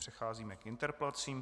Přecházíme k interpelacím.